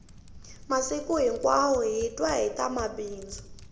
masiku hinkwawo hi twa hita mabindzu